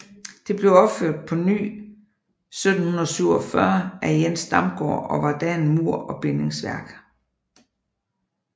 Det blev opført på ny 1747 af Jens Damgaard og var da af mur og bindingsværk